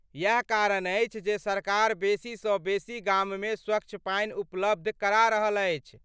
इएह कारण अछि जे सरकार बेसीसँ बेसी गाममे स्वच्छ पानि उपलब्ध करा रहल अछि।